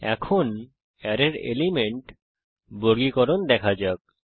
এখন অ্যারের এলিমেন্ট বর্গীকরণ দেখা যাক